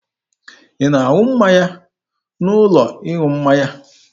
Ị na-aṅụ mmanya n'ụlọ ịṅụ mmanya?